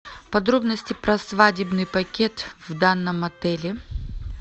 подробности про свадебный пакет в данном отеле